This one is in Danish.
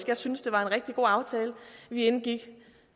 jeg synes det var en rigtig god aftale vi indgik